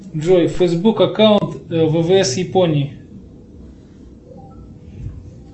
джой фейсбук аккаунт ввс японии